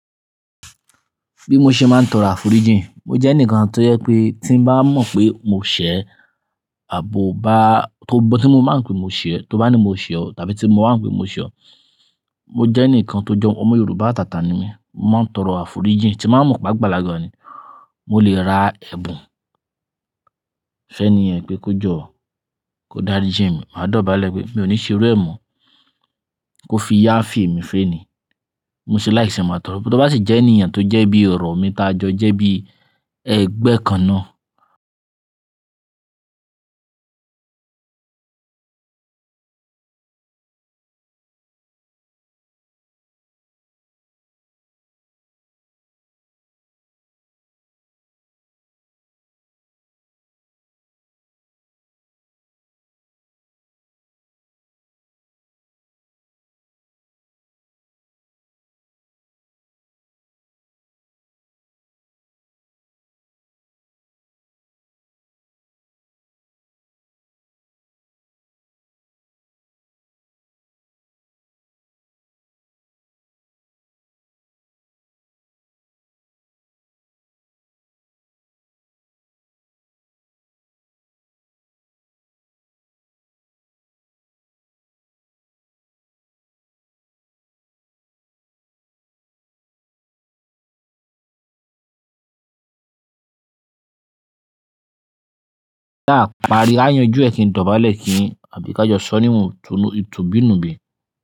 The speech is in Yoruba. Bí mo ṣe máa ń tọrọ àfurí jíìn, mo jẹ́ ẹnìkan tó yẹ pé tí bá mọ̀ pé mo ṣẹ̀, àbò bá tó bó tí mo máa ń pe mo ṣẹ̀, tó bá ní mo ṣe ọ, tàbí tí mo wà ń pe mo ṣe ọ, mo jẹ́ ẹnìkan tó jọ, ọmọ Yorùbá tàtà ni mí. Mo máa ń tọrọ àfurí jíìn tí bàá mọ̀ gbàgbà lagbára ni. Mo lè ra ẹ̀bùn, sẹ́ni yẹn pé kó jọ́, kó dárí jíìn mi, màá dọ̀bálẹ̀ pé mi ò ní ṣeré ẹ̀ mọ́, kó fi yá feè mi féè ni. Mo sì láìṣẹ̀ máa tọrọ. Tó bá sì jẹ́ ènìyàn tó jẹ́ bí ọ̀rọ̀ mi tajọ jẹ́ bí ẹgbẹ́ kan naa náà.